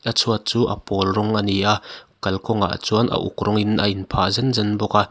chhuat chu a pawl rawng ani a kal kawng ah chuan a uk rawng in a in phah zen zen bawk a.